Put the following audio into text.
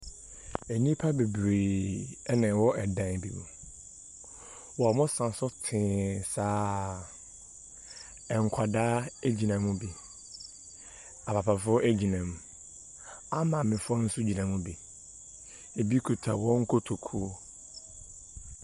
Nnipa bebree na ɛwɔ dan bi mu, wɔsa so saa. Nkwadaa gyina mu bi. Apapa gyina mu, amaamefoɔ nso gyina mu bi. Bi kita wɔn kotoku.